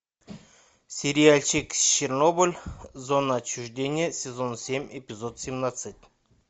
сериальчик чернобыль зона отчуждения сезон семь эпизод семнадцать